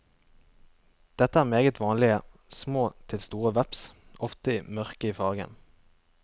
Dette er meget vanlige, små til store veps, ofte mørke i fargen.